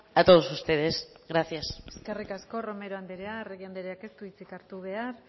a todos ustedes gracias eskerrik asko romero andrea arregi andreak ez du hitzik hartu behar